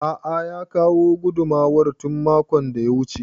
A'a ya kawo gudumar tun makon da ya wuce